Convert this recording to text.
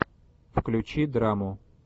включи драму